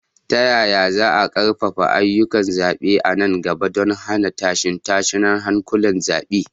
Ta yaya za a ƙarfafa ayyukan zaɓe a nan gaba don hana tashe-tashen hankulan zaɓe?